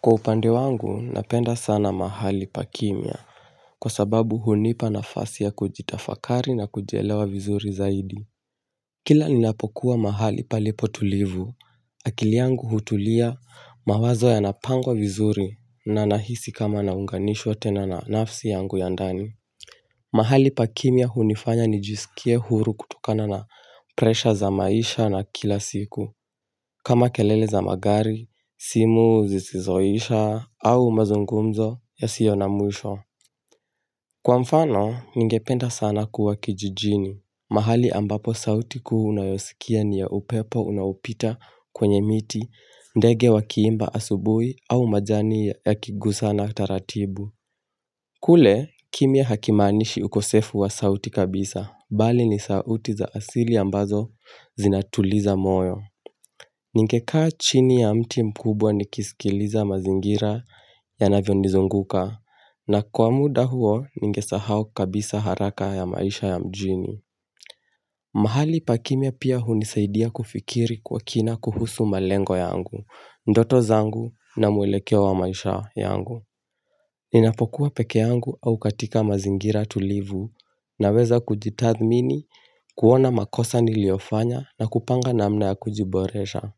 Kwa upande wangu napenda sana mahali pa kimya. Kwa sababu unipa nafasi ya kujitafakari na kujielewa vizuri zaidi. Kila ninapokuwa mahali palipo tulivu, akili yangu hutulia mawazo yanapangwa vizuri na nahisi kama naunganishwa tena na nafsi yangu ya ndani. Mahali pa kimya hunifanya nijisikie huru kutukana na presha za maisha na kila siku, kama kelele za magari, simu zisizoisha, au mazungumzo yasio na mwisho. Kwa mfano, ningependa sana kuwa kijijini. Mahali ambapo sauti kuu unayosikia ni ya upepo unaopita kwenye miti, ndege wakiimba asubuhi au majani yakigusana taratibu. Kule, kimya hakimaanishi ukosefu wa sauti kabisa, bali ni sauti za asili ambazo zinatuliza moyo. Ningekaa chini ya mti mkubwa nikisikiliza mazingira yanavyonizunguka, na kwa muda huo ningesahau kabisa haraka ya maisha ya mjini. Mahali pakimya pia unisaidia kufikiri kwa kina kuhusu malengo yangu, ndoto zangu na muelekeo wa maisha yangu. Ninapokuwa peke yangu au katika mazingira tulivu naweza kujitathmini, kuona makosa niliofanya na kupanga namna ya kujiboresha.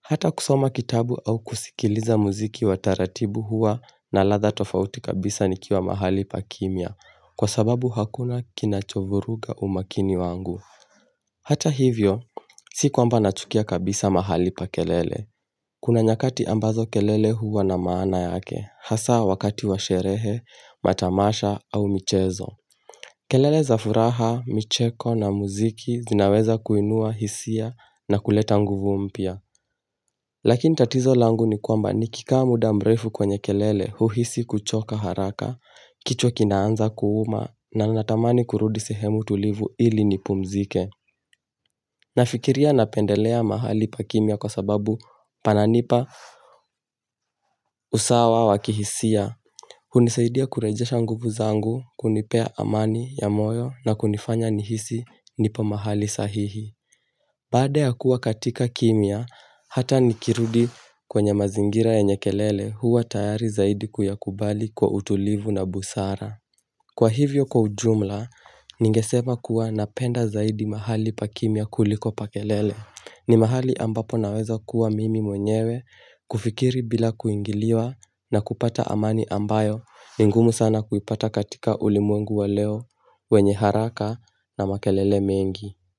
Hata kusoma kitabu au kusikiliza muziki wa taratibu hua na latha tofauti kabisa nikiwa mahali pakimya kwa sababu hakuna kinachovuruga umakini wangu. Hata hivyo, sikwamba nachukia kabisa mahali pa kelele. Kuna nyakati ambazo kelele huwa na maana yake, hasa wakati wa sherehe, matamasha au michezo. Kelele za furaha, micheko na muziki zinaweza kuinua hisia na kuleta nguvu mpya. Lakini tatizo langu ni kwamba nikikaa muda mrefu kwenye kelele huhisi kuchoka haraka. Kichwa kinaanza kuuma na natamani kurudi sehemu tulivu ili nipumzike. Nafikiria napendelea mahali pakimya kwa sababu pananipa usawa wa kihisia. Unisaidia kurejesha nguvu zangu, kunipea amani ya moyo na kunifanya nihisi nipo mahali sahihi. Baada ya kuwa katika kimya, hata nikirudi kwenye mazingira yenye kelele huwa tayari zaidi kuyakubali kwa utulivu na busara. Kwa hivyo kwa ujumla, ningesema kuwa napenda zaidi mahali pa kimya kuliko pa kelele. Ni mahali ambapo naweza kuwa mimi mwenyewe kufikiri bila kuingiliwa na kupata amani ambayo ingumu sana kuipata katika ulimwengu wa leo wenye haraka na makelele mengi.